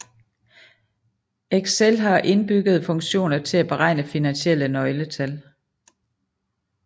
Excel har indbyggede funktioner til at beregne finansielle nøgletal